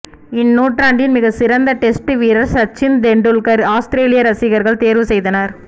இந் நூற்றாண்டின் மிக சிறந்த் டெஸ்ட் வீரர் சச்சின் தெண்டுல்கர் ஆஸ்திரேலிய ரசிகர்கள் தேர்வு செய்தனர்